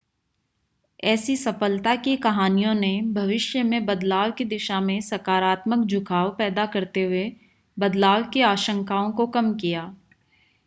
ऐसी सफलता की कहानियों ने भविष्य में बदलाव की दिशा में सकारात्मक झुकाव पैदा करते हुए बदलाव की आशंकाओं को कम किया